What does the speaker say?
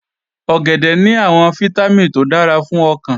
Ọ̀gẹ̀dẹ̀ ní àwọn fítámìn tó dára fún ọkàn